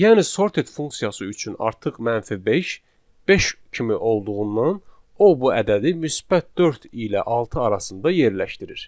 Yəni sorted funksiyası üçün artıq -5, 5 kimi olduğundan o bu ədədi müsbət 4 ilə 6 arasında yerləşdirir.